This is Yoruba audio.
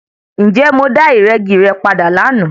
Ǹjẹ́ mo dá ìrẹ́gi re padà lánàá?